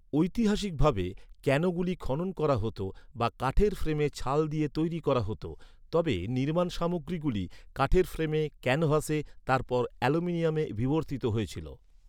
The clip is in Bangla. ঐতিহাসিকভাবে, ক্যানোগুলি খনন করা হত বা কাঠের ফ্রেমে ছাল দিয়ে তৈরি করা হত, তবে নির্মাণ সামগ্রীগুলি, কাঠের ফ্রেমে ক্যানভাসে, তারপর অ্যালুমিনিয়ামে বিবর্তিত হয়েছিল।